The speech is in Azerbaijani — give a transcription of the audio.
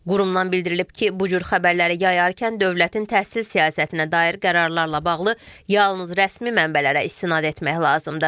Qurumdan bildirilib ki, bu cür xəbərləri yayarkən dövlətin təhsil siyasətinə dair qərarlarla bağlı yalnız rəsmi mənbələrə istinad etmək lazımdır.